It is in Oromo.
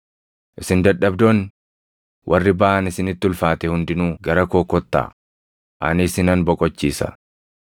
“Isin dadhabdoonni, warri baʼaan isinitti ulfaate hundinuu gara koo kottaa; ani isinan boqochiisa.